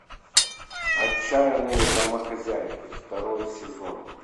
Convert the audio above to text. отчаянные домохозяйки второй сезон